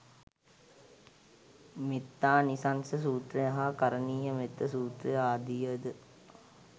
මෙත්තානිසංස සූත්‍රය හා කරණීයමෙත්ත සූත්‍රය ආදිය ද